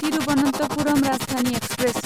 Thiruvananthapuram Rajdhani express